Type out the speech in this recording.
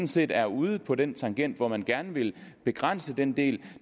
set er ude på den tangent hvor man gerne vil begrænse den del